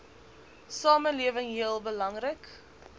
samelewing heel belangrik